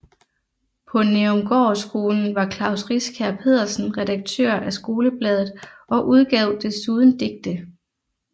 På Nærumgårdskolen var Klaus Riskær Pedersen redaktør af skolebladet og udgav desuden digte